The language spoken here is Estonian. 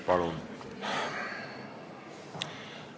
Palun!